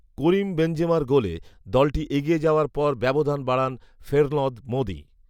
করিম বেনজেমার গোলে দলটি এগিয়ে যাওয়ার পর ব্যবধান বাড়ান ফেরলঁদ মঁদি